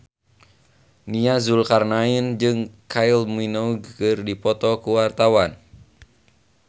Nia Zulkarnaen jeung Kylie Minogue keur dipoto ku wartawan